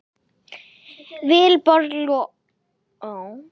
Vilborg Lofts.